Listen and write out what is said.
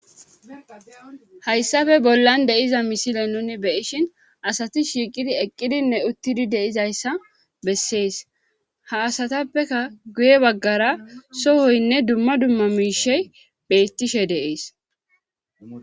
hayssafe bollan de7iza misile nuni be7ishin asati shiiqidi eqqidinne uttidi de7izayssa bessees ha asatappeka guye baggara sohoynne dumma dumma miishey bettishe de7ees